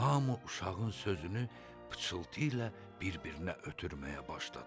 Hamı uşağın sözünü pıçıltı ilə bir-birinə ötürməyə başladı.